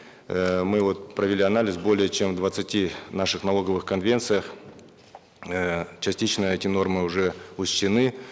э мы вот провели анализ более чем в двадцати наших налоговых конвенциях э частично эти нормы уже учтены